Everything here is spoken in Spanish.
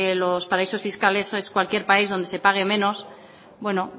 los paraísos fiscales es cualquier país donde se pague menos bueno